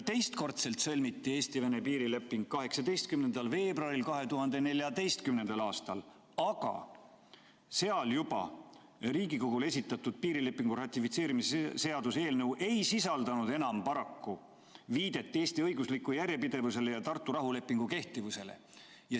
Teistkordselt sõlmiti Eesti-Venemaa piirileping 18. veebruaril 2014. aastal, aga selles juba Riigikogule esitatud piirilepingu ratifitseerimise seaduse eelnõus ei sisaldunud enam paraku viidet Eesti õiguslikule järjepidevusele ja Tartu rahulepingu kehtivusele.